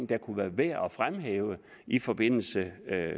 det kunne være værd at fremhæve i forbindelse